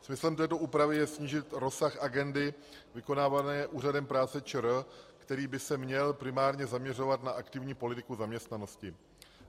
Smyslem této úpravy je snížit rozsah agendy vykonávané Úřadem práce ČR, který by se měl primárně zaměřovat na aktivní politiku zaměstnanosti.